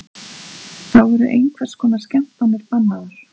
Þá eru hvers konar skemmtanir bannaðar